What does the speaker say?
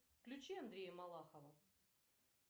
включи андрея малахова